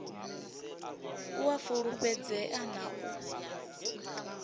u a fulufhedzea na u